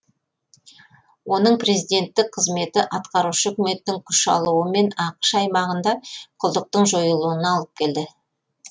оның президенттік қызметі атқарушы үкіметтің күш алуы мен ақш аймағында құлдықтың жойылуына алып келді